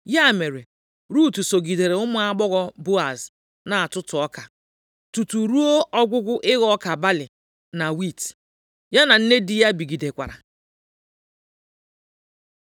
Ya mere, Rut sogidere ụmụ agbọghọ Boaz na-atụtụ ọka, tutu ruo ọgwụgwụ ịghọ ọka balị na wiiti. Ya na nne di ya bigidekwara.